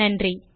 நன்றி